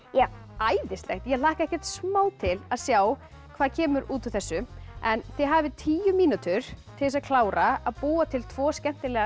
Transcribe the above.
æðislegt ég hlakka ekkert smá til að sjá hvað kemur út úr þessu en þið hafið tíu mínútur til þess að klára að búa til tvo skemmtilega